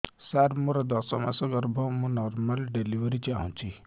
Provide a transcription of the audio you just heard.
ସାର ମୋର ଦଶ ମାସ ଗର୍ଭ ମୁ ନର୍ମାଲ ଡେଲିଭରୀ ଚାହୁଁଛି